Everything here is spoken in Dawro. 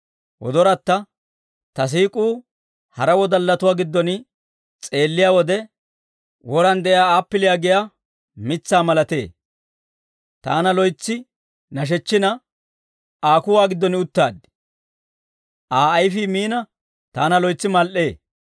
Ta siik'uu hara wodallatuwaa giddon s'eelliyaa wode, woran de'iyaa appiliyaa giyaa mitsaa malatee; taana loytsi nashechchina, Aa kuwaa giddon uttaad; Aa ayifii miina, taana loytsi mal"ee.